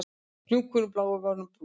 Hnúkurinn blái var orðinn brúnn